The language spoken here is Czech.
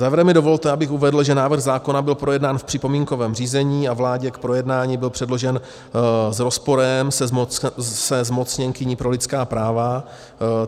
Závěrem mi dovolte, abych uvedl, že návrh zákona byl projednán v připomínkovém řízení a vládě k projednání byl předložen s rozporem se zmocněnkyní pro lidská práva.